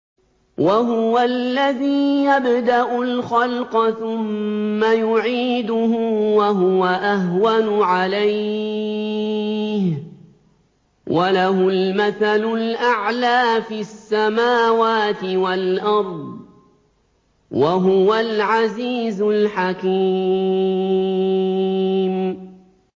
وَهُوَ الَّذِي يَبْدَأُ الْخَلْقَ ثُمَّ يُعِيدُهُ وَهُوَ أَهْوَنُ عَلَيْهِ ۚ وَلَهُ الْمَثَلُ الْأَعْلَىٰ فِي السَّمَاوَاتِ وَالْأَرْضِ ۚ وَهُوَ الْعَزِيزُ الْحَكِيمُ